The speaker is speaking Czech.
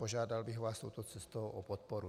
Požádal bych vás touto cestou o podporu.